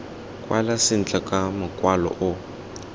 kwala sentle ka mokwalo o